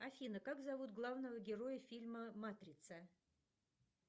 афина как зовут главного героя фильма матрица